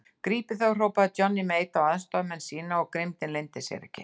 Grípið þá hrópaði Johnny Mate á aðstoðarmenn sína og grimmdin leyndi sér ekki.